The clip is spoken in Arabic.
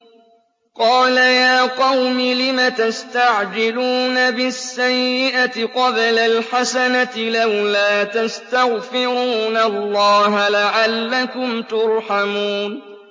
قَالَ يَا قَوْمِ لِمَ تَسْتَعْجِلُونَ بِالسَّيِّئَةِ قَبْلَ الْحَسَنَةِ ۖ لَوْلَا تَسْتَغْفِرُونَ اللَّهَ لَعَلَّكُمْ تُرْحَمُونَ